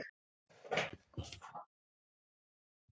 en þessi röksemdafærsla byggir á því að við sættum okkur við tvennt